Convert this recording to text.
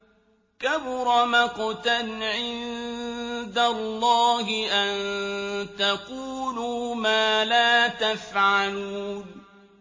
كَبُرَ مَقْتًا عِندَ اللَّهِ أَن تَقُولُوا مَا لَا تَفْعَلُونَ